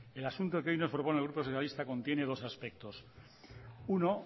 el asunto que hoy nos propone el grupo socialista contiene dos aspectos uno